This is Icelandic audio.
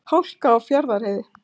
Hálka á Fjarðarheiði